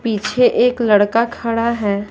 पीछे एक लड़का खड़ा है।